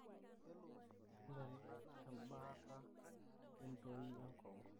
nena embaata entoi enkongu.